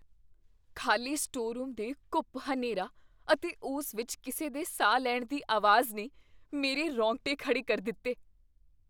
ਖ਼ਾਲੀ store room ਦੇ ਘੂੱਪ ਹਨੇਰਾ ਅਤੇ ਉਸ ਵਿੱਚ ਕਿਸੇ ਦੇ ਸਾਹ ਲੈਣ ਦੀ ਆਵਾਜ਼ ਨੇ ਮੇਰੇ ਰੋਂਗਟੇ ਖੜ੍ਹੇ ਕਰ ਦਿੱਤੇ।